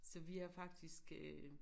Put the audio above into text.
Så er faktisk øh